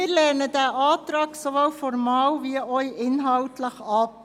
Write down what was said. Diesen Antrag lehnen wir sowohl formal als auch inhaltlich ab.